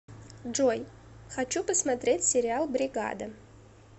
джой хочу посмотреть сериал бригада